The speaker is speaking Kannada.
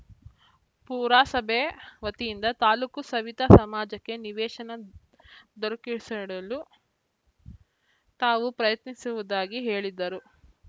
ಪುರಸಭೆ ವತಿಯಿಂದ ತಾಲೂಕು ಸವಿತಾ ಸಮಾಜಕ್ಕೆ ನಿವೇಶನ ದೊರಕಿಸಿಡಲು ತಾವು ಪ್ರಯತ್ನಿಸುವುದಾಗಿ ಹೇಳಿದರು